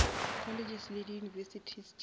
colleges le di univesities tša